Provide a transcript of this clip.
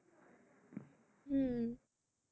হম